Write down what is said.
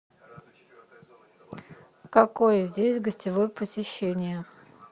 какое здесь гостевое посещение